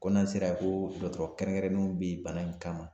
Ko n'an sera yen ko dɔgɔtɔrɔ kɛrɛnkɛrɛnnenw bɛ yen bana in kama